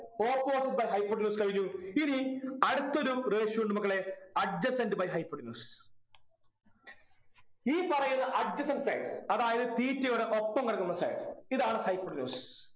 opposite by hypotenuse കഴിഞ്ഞു ഇനി അടുത്തൊരു ratio ഉണ്ട് മക്കളെ adjacent by hypotenuse ഈ പറയുന്ന adjacent side അതായത് theta യുടെ ഒപ്പം കിടക്കുന്ന side ഇതാണ് hypotenuse